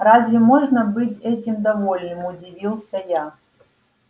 разве можно быть этим довольным удивился я